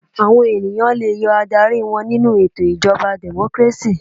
Àwọn ènìyàn le yọ aládarí wọn nínú ètò ìjọba democracy.